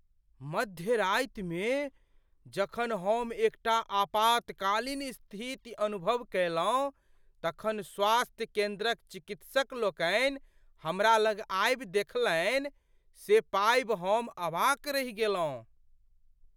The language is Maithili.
मध्य रातिमे जखन हम एकटा आपातकालीन स्थिति अनुभव कयलहुँ तखन स्वास्थ्य केन्द्रक चिकित्सक लोकनि हमरा लग आबि देखलनि, से पाबि हम अवाक रहि गेलहुँ।